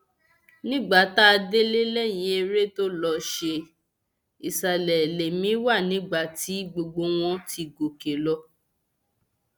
nígbà tá a délé lẹyìn eré tó lọọ ṣe ìsàlẹ lèmi wà nígbà tí gbogbo wọn ti gòkè lọ